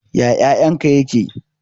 Ya ƴaƴan ka ƴaƙe?